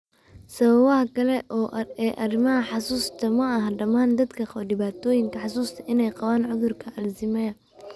Sababaha Kale ee Arrimaha Xusuusta Ma aha dhammaan dadka qaba dhibaatooyinka xusuusta inay qabaan cudurka Alzheimers.